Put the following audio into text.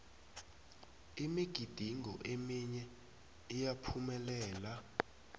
imigidingo eminye iyaphumelela